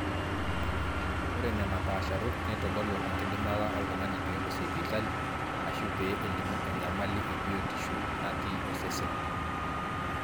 ore nena paasharot neitodolu enkidimata oltung'ani peelo sipitali aashu pee elimu enyamali ebiotishu natii osesen